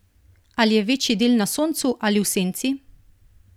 Ali je večji del na soncu ali v senci?